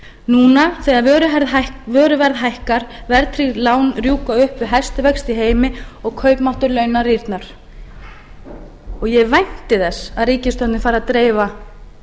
núna þegar vöruverð hækkar verðtryggð lán rjúka upp við hæstu vexti í heimi og kaupmáttur launa rýrnar ég vænti þess að ríkisstjórnin fari að dreifa